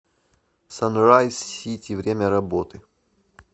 санрайз сити время работы